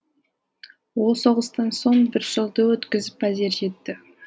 ол соғыстан соң бір жылды өткізіп әзер жетті